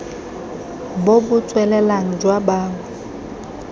bo bo tswelelang jwa bao